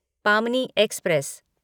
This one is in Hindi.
पामनी एक्सप्रेस